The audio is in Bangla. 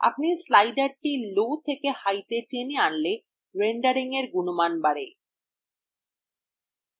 আপনি slider low থেকে high তে টেনে আনলে রেন্ডারিংয়ের গুণমান বাড়ে